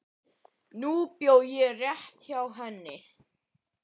Nú bjó ég rétt hjá henni.